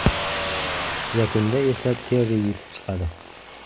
Yakunda esa Terri yutib chiqadi.